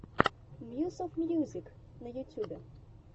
мьюс оф мьюзик на ютьюбе